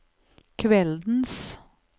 kveldens